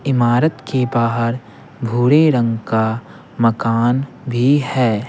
इमारत के बाहर भूरे रंग का मकान भी है।